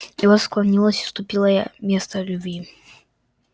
и вот склонилось уступила я место любви